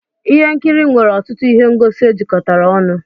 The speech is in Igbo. ihe nkiri nwere ọtụtụ ihe ngosi ejikọtara ọnụ